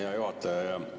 Hea juhataja!